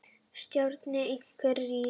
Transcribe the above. Stjarna einhvers rís